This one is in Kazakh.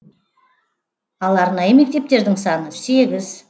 ал арнайы мектептердің саны сегіз